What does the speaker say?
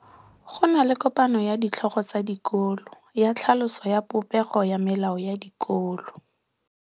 Go na le kopanô ya ditlhogo tsa dikolo ya tlhaloso ya popêgô ya melao ya dikolo.